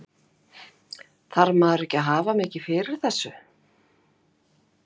Höskuldur: Þarf maður ekki að hafa mikið fyrir þessu?